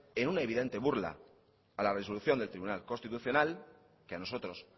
en una evidente burla a la resolución del tribunal constitucional que a nosotros